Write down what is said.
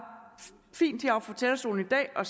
fint har fra talerstolen i dag og